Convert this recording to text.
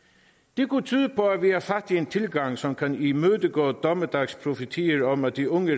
det kunne tyde på at vi har fat i en tilgang som kan imødegå dommedagsprofetier om at de unge